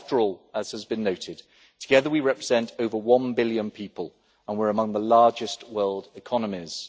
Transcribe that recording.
After all, as has been noted, together we represent over one billion people, and we are among the largest world economies.